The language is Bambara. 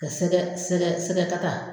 Ka sɛgɛ sɛgɛ sɛgɛ kata